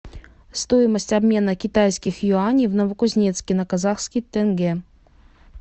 стоимость обмена китайских юаней в новокузнецке на казахский тенге